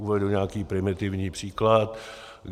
Uvedu nějaký primitivní příklad.